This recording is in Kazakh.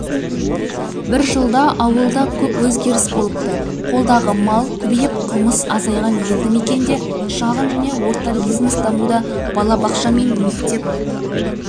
бір жылда ауылда көп өзгеріс болыпты қолдағы мал көбейіп қылмыс азайған елді мекенде шағын және орта бизнес дамуда балабақша мен мектеп